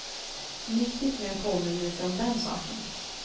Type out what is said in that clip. Nyttigt med en påminnelse om den saken.